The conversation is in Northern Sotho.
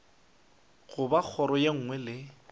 goba kgoro ye nngwe le